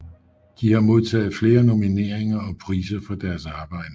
De har modtaget flere nomineringer og priser for deres arbejde